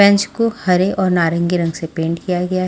bench को हरे और नारंगी रंग से पेंट किया गया --